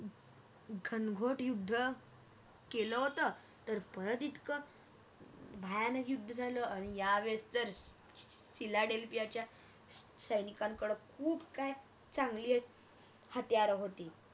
घनघोट युद्ध केल होत तर परत इतकं भयानक युद्ध झालं आणि यावेळेस तर सिला ढल याच्या सैनिकांकड खूप काय चांगली हत्यारे होती